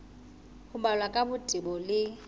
ho balwa ka botebo le